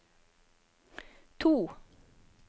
to